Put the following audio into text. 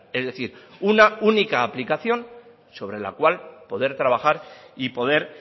es decir una única aplicación sobre la cual poder trabajar y poder